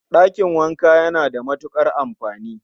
Dakin wanka yana da matukar amfani